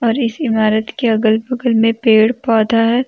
और इस इमारत के अगल बगल में पेड़ पौधा है।